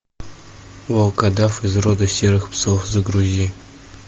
волкодав из рода серых псов загрузи